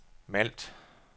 Malt